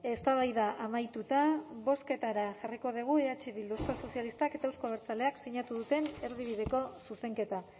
eztabaida amaituta bozketara jarriko dugu eh bildu euskal sozialistak eta euzko abertzaleak sinatu duten erdibideko zuzenketa